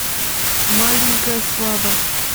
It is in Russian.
маленькая слава